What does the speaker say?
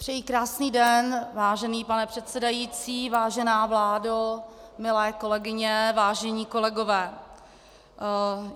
Přeji krásný den, vážený pane předsedající, vážená vládo, milé kolegyně, vážení kolegové.